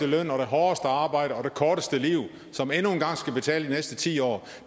løn og det hårdeste arbejde og det korteste liv som endnu en gang skal betale de næste ti år